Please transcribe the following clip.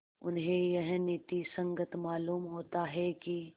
उन्हें यह नीति संगत मालूम होता है कि